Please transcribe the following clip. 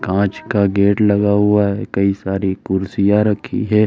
काँच का गेट लगा हुआ है। कई सारी कुर्सियां रखी हैं।